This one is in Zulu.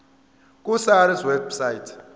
ku sars website